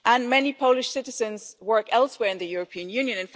Many Polish citizens work elsewhere in the European Union.